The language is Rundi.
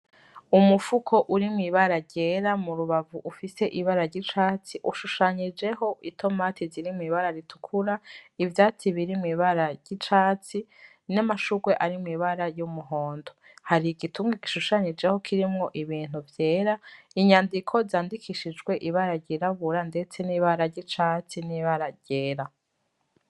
Umufuko uri mw'ibara ryera murubavu ufise ibara ry'icatsi, ushushanyijeho itomati ziri mw'ibara ritukura, ivyatsi biri mw'ibara ry'icatsi, n'amashurwe ari mw'ibara ry'umuhondo. Hari igitunga gishushanyijeho kirimwo ibintu vyera, inyandiko zandikishijwe ibara ryirabura ndetse n'ibara ry'icatsi n'ibara ryera.